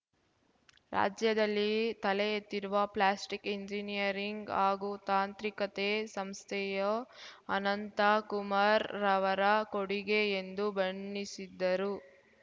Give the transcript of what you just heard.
ರಾಜ್ಯದಲ್ಲಿ ತಲೆ ಎತ್ತಿರುವ ಪ್ಲಾಸ್ಟಿಕ್‌ ಎಂಜಿನಿಯರಿಂಗ್‌ ಹಾಗೂ ತಾಂತ್ರಿಕತೆ ಸಂಸ್ಥೆಯು ಅನಂತ ಕುಮಾರ್ ರವರ ಕೊಡುಗೆ ಎಂದು ಬಣ್ಣಿಸಿದ್ದರು